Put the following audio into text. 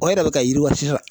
O yɛrɛ bɛ ka yiriwa sisan